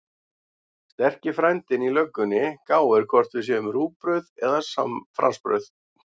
Sterki frændinn í löggunni gáir hvort við séum rúgbrauð eða fransbrauð.